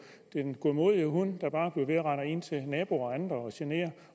en godmodig hund bare bliver ved med at rende ind til naboer og genere